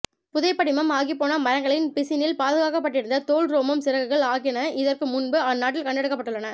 புதைபடிமம் ஆகிப்போன மரங்களின் பிசினில் பாதுகாக்கப்பட்டிருந்த தோல் ரோமம் சிறகுகள் ஆகியன இதற்கு முன்பு அந்நாட்டில் கண்டெடுக்க பட்டுள்ளன